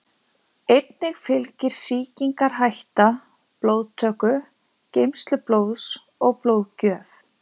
Einnig fylgir sýkingarhætta blóðtöku, geymslu blóðs og blóðgjöf.